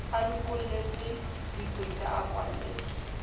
a lokolletse dikweta a kwalletse